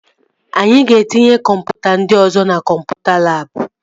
Anyị ga-etinye kọmputa ndị ọzọ na kọmputa labụ